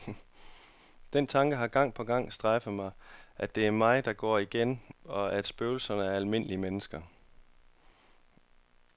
Den tanke har gang på gang strejfet mig, at det er mig, der går igen, og at spøgelserne er almindelige mennesker.